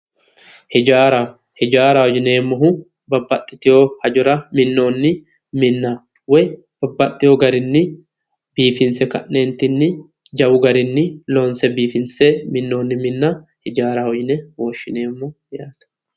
Hijaara, Hijaara yineemmohu babbaxiteyo hajora minoni minna babbaxeo garinni biifinse ka'netinni jawu garinni loonse minoni minna hijaaraho woshshineemmo yaate